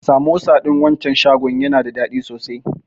Samosa ɗin wancan shagon yana da daɗi sosai.